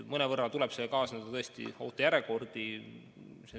Mõnevõrra kaasneb sellega tõesti ootejärjekordi.